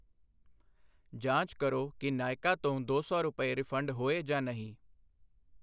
ਜਾਂਚ ਕਰੋ ਕਿ ਨਾਇਕਾ ਤੋਂ ਦੋ ਸੌ ਰੁਪਏ ਰਿਫੰਡ ਹੋਏ ਜਾਂ ਨਹੀਂ।